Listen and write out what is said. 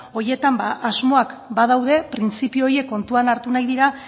horietan asmoak badaude printzipio horiek kontuan hartu nahi dira